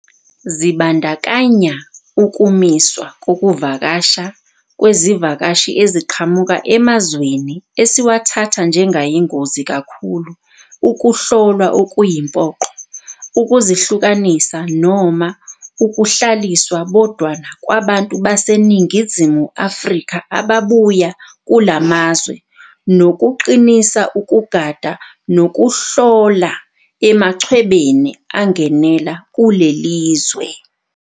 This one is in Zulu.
Zibandakanya ukumiswa kokuvakasha kwezivakashi eziqhamuka emazweni esiwathatha njengayingozi kakhulu, ukuhlolwa okuyimpoqo, ukuzihlukanisa noma ukuhlaliswa bodwana kwabantu baseNingizimu Afrika ababuya kulamazwe, nokuqinisa ukugada, nokuhlola emachwebeni angenela kulelizwe.